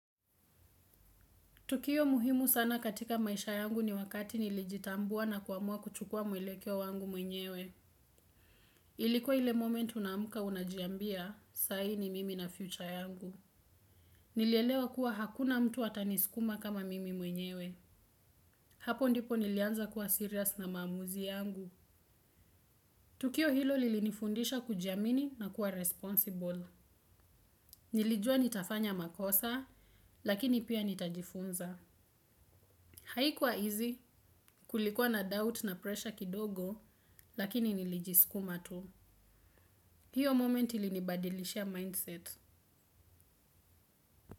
Tukio muhimu sana katika maisha yangu ni wakati nilijitambua na kuamua kuchukua mwelekeo wangu mwenyewe. Ilikuwa ile moment unaamuka unajiambia, sai ni mimi na future yangu. Nilielewa kuwa hakuna mtu atanisikuma kama mimi mwenyewe. Hapo ndipo nilianza kuwa serious na maamuzi yangu. Tukio hilo lilinifundisha kujiamini nakuwa responsible. Nilijua nitafanya makosa, lakini pia nitajifunza. Haikuwa easy kulikuwa na doubt na pressure kidogo lakini nilijiskuma tu. Hiyo moment ilinibadilishia mindset.